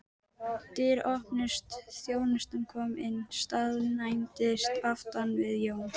Dyr opnuðust, þjónusta kom inn og staðnæmdist aftan við Jón.